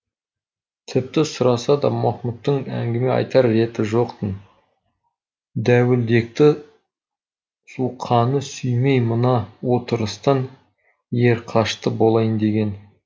тіпті сұраса да махмұттың әңгіме айтар реті жоқ тын дәуілдекті суқаны сүймей мына отырыстан ерқашты болайын деген